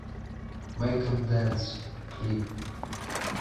мэйк эм дэнс клип